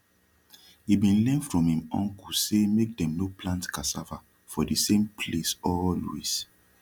he bin learn from im uncle say make dem no plant cassava for de same place always